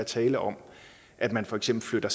tale om at man for eksempel flytter